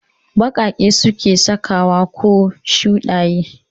Ɓaƙaƙe suke sakawa ko shuɗaye